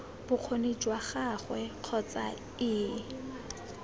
bokgoni jwa gagwe kgotsa ii